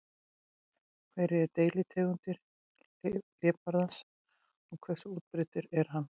Hverjar eru deilitegundir hlébarðans og hversu útbreiddur er hann?